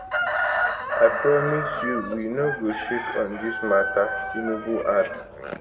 i promise you we no go shake on dis mata tinubu add